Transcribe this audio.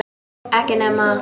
Ekki nema?